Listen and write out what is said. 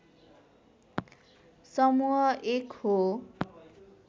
समुह एक हो